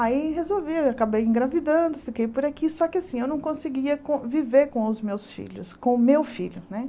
Aí resolvi, acabei engravidando, fiquei por aqui, só que assim, eu não conseguia conviver com os meus filhos, com o meu filho, né?